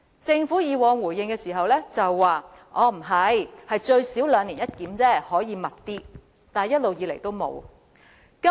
政府以往的回應是最少兩年一檢，但有需要時可以更頻密，惟一直以來也沒有這樣做。